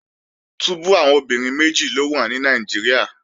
Túbú àwọn obìnrin méjì ló wà ní Nàìjíríà